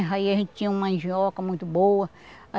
Aí a gente tinha uma mandioca muito boa.